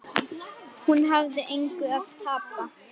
Hún hafði engu að tapa.